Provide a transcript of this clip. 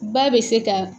Ba bɛ se ka